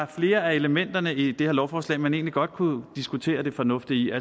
flere af elementerne i det her lovforslag man egentlig godt kunne diskutere det fornuftige